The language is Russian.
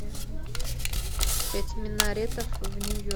пять минаретов в нью йорке